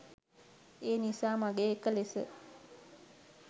එනිසා මගේ එක ලෙස